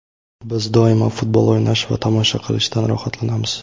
Biz doimo futbol o‘ynash va tomosha qilishdan rohatlanamiz.